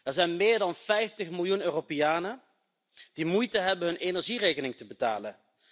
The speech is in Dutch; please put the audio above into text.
Er zijn meer dan 50 miljoen Europeanen die moeite hebben om hun energierekening te betalen.